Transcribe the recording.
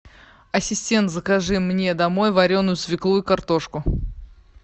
ассистент закажи мне домой вареную свеклу и картошку